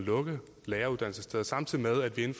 at lukke læreruddannelsessteder samtidig med at vi